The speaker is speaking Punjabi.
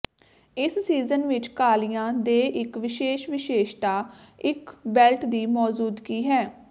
ਇਸ ਸੀਜ਼ਨ ਵਿੱਚ ਕਾਲੀਆਂ ਦੇ ਇੱਕ ਵਿਸ਼ੇਸ਼ ਵਿਸ਼ੇਸ਼ਤਾ ਇੱਕ ਬੈਲਟ ਦੀ ਮੌਜੂਦਗੀ ਹੈ